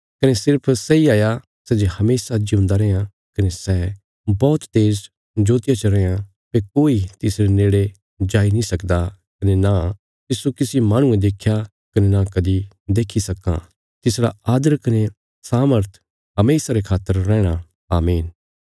कने सिर्फ सैई हाया सै जे हमेशा जिऊंदा रैयां कने सै बौहत तेज ज्योतिया च रैयां भई कोई तिसरे नेड़े जाई नीं सकदा कने नां तिस्सो किसी माहणुये देख्या कने नां कदीं देखी सक्कां तिसरा आदर कने सामर्थ हमेशा रे खातर रैहणा आमीन